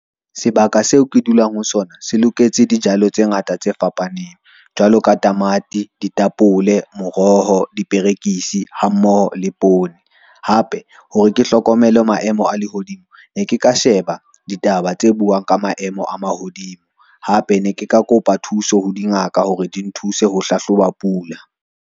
Sebaka seo ke dulang ho sona se loketse dijalo tse ngata tse fapaneng jwalo ka tamati, ditapole, moroho, diperekisi hammoho le poone. Hape hore ke hlokomele maemo a lehodimo ne ke ka sheba ditaba tse buang ka maemo a mahodimo, hape ne ke ka kopa thuso ho dingaka hore di nthuse ho hlahloba pula.